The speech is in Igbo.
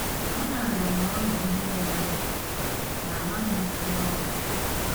Amaara m na ọ dị ihe merenụ, ma amaghị m ihe ọ bụ.